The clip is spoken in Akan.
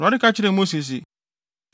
Awurade ka kyerɛɛ Mose se,